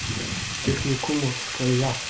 техникумовская